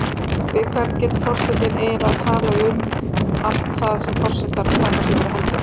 Við hvern getur forsetinn eiginlega talað um allt það sem forsetar taka sér fyrir hendur?